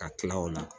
Ka tila o la